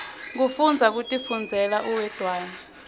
kufundza kutifundzela uwedwana